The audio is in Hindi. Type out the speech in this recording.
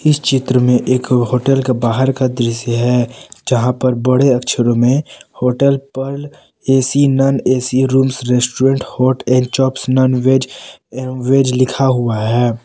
एक चित्र में एक होटल का बाहर का दृश्य है जहां पर बड़े अक्षरों में होटल पर AC non AC rooms restaurant hot and chops nonveg एवं वेज लिखा हुआ है।